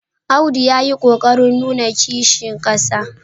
Audu ya yi ƙo ƙarin nuna Kishi ƙasa.